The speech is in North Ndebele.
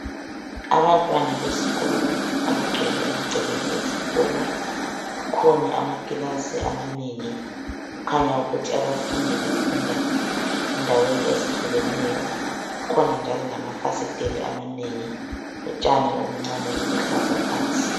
Abantwana besikolo abagcwele emagcekeni esikolo .Kukhona amakilasi amanengi kukhanya ukuthi abafundi bafunda endaweni ezihlukeneyo .Kukhona njalo lamafasiteli amanengi lotshani obuncane obuluhlaza phansi .